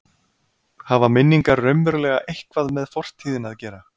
Hafa minningar raunverulega eitthvað með fortíðina að gera?